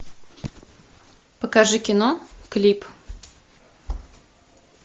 покажи кино клип